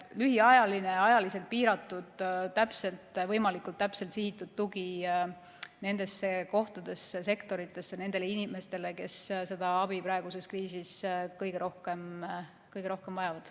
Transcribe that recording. See on lühiajaline, ajaliselt piiratud, võimalikult täpselt sihitud tugi nendesse kohtadesse, sektoritesse, nendele inimestele, kes seda abi praeguses kriisis kõige rohkem vajavad.